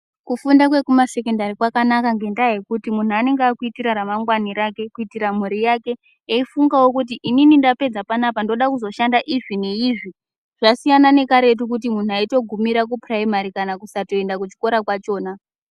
Kufunda kwekumasekendari kwakanaka ngendaa yekuti munthu anenge akuitira ramangwana rake kuitira mhuri yake eifungawo kuti inini ndapedza panapa ndoda kuzoshanda izvi neizvi. Zvasiyana nekaretu kwekuti munthu aitogumira kupuraimari kana kusatoenda kuchikora kwachona.